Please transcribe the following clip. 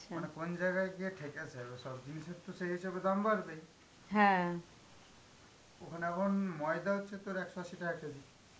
মানে কোন জায়গায় গিয়ে ঠেকেছে, ওসব জিনিসের তো সেই হিসেবে দাম বাড়বেই. ওখানে এখন ময়দা হচ্ছে তোর একশ আশি টাকা KG .